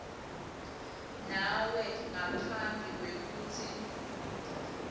nawe ngaphambi kwekutsi